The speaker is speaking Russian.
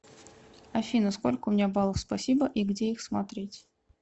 афина сколько у меня баллов спасибо и где их смотреть